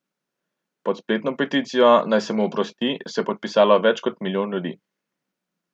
Pod spletno peticijo, naj se mu oprosti, se je podpisalo več kot milijon ljudi.